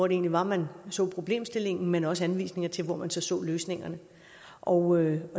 egentlig var man så problemstillingen men også anvisninger til hvor man så så løsningerne og